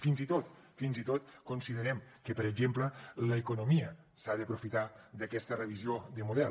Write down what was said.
fins i tot considerem que per exemple l’economia s’ha d’aprofitar d’aquesta revisió del model